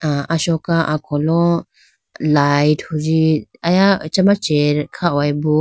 Asoka akholo light huji aya achama chair kha hoyibo.